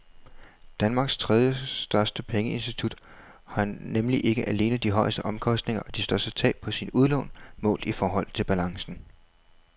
Danmarks tredjestørste pengeinstitut har nemlig ikke alene de højeste omkostninger og de største tab på sine udlån målt i forhold til balancen.